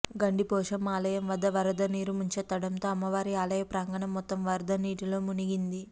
గండిపోశమ్మ ఆలయం వద్ద వరద నీరు ముంచెత్తడంతో అమ్మవారి ఆలయ ప్రాంగణం మొత్తం వరద నీటిలో మునిగింది